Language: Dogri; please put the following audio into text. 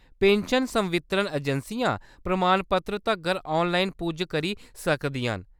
पेंशन संवितरण अजैंसियां ​​प्रमाणपत्तर तरगर ऑनलाइन पुज्ज करी सकदियां न।